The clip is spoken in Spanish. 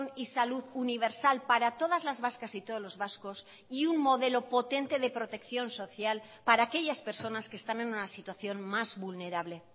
y salud universal para todas las vascas y todos los vascos y un modelo potente de protección social para aquellas personas que están en una situación más vulnerable